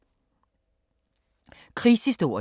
Krigshistorie